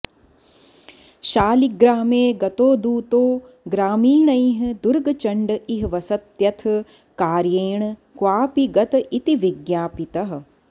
शालिग्रामे गतो दूतो ग्रामीणैः दुर्गचण्ड इह वसत्यथ कार्येण क्वापि गत इति विज्ञापितः